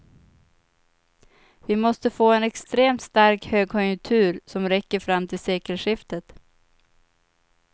Vi måste få en extremt stark högkonjunktur som räcker fram till sekelskiftet.